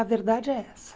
A verdade é essa.